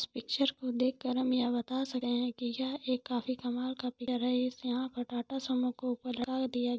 इए पिक्चर में देख कर हम ये बता सकते है ये एक काफी कमाल का है और यहाँ पर टाटा सूमो को उपर रख दिया